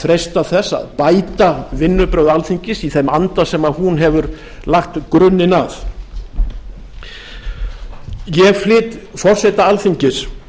freista þess að bæta vinnubrögð alþingis í þeim anda sem hún hefur lagt grunninn að ég flyt forseta alþingis